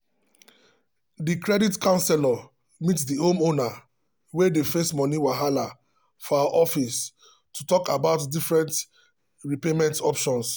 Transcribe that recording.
the credit counselor meet the homeowner wey dey face money wahala for her office to talk about different repayment options.